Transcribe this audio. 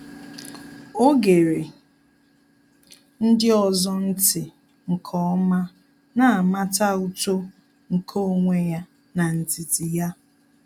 Ọ́ gere ndị ọzọ̀ ntị́ nke ọ́ma, nà-àmàtà uto nke onwe ya n’ndidi ya.